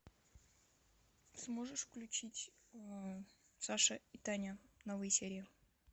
сможешь включить саша и таня новые серии